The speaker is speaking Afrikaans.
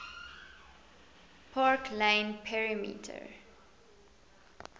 park lane perimeter